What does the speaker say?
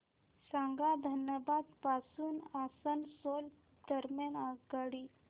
सांगा धनबाद पासून आसनसोल दरम्यान आगगाडी